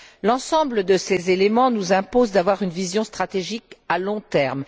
L'ensemble de ces éléments nous impose d'avoir une vision stratégique à long terme.